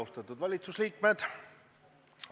Austatud valitsuse liikmed!